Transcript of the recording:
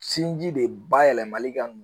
Sinji de ba yɛlɛmali ka n